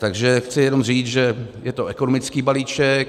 Takže chci jenom říci, že je to ekonomický balíček.